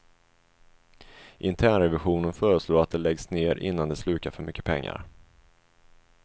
Internrevisionen föreslår att det läggs ner innan det slukar för mycket pengar.